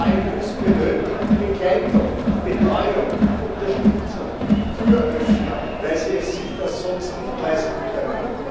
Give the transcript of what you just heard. Die KMU benötigen Begleitung, Betreuung, Unterstützung, Türöffner, weil sie sich das sonst nicht leisten können.